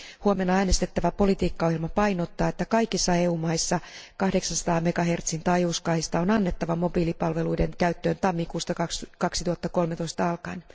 Huomenna äänestettävä politiikkaohjelma painottaa, että kaikissa EU maissa 800 MHzn taajuuskaista on annettava mobiilipalveluiden käyttöön tammikuusta 2013 alkaen.